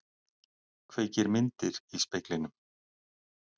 Kveikir myndir í speglinum.